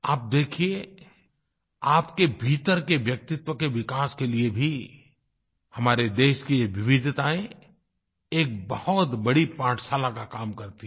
आप देखिये आपके भीतर के व्यक्तित्व के विकास के लिए भी हमारे देश की ये विविधतायें एक बहुत बड़ी पाठशाला का काम करती है